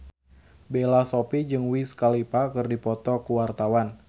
Bella Shofie jeung Wiz Khalifa keur dipoto ku wartawan